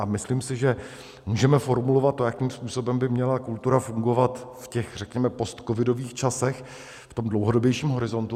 A myslím si, že můžeme formulovat to, jakým způsobem by měla kultura fungovat v těch, řekněme, postcovidových časech, v tom dlouhodobějším horizontu.